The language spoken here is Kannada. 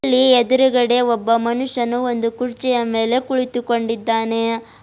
ಇಲ್ಲಿ ಎದ್ರುಗಡೆ ಒಬ್ಬ ಮನುಷ್ಯನು ಒಂದು ಕುರ್ಚಿಯ ಮೇಲೆ ಕುಳಿತುಕೊಂಡಿದ್ದಾನೆ.